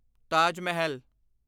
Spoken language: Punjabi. ਤਾਜ ਮਾਹਲ